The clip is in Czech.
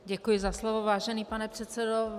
Děkuji za slovo, vážený pane předsedo.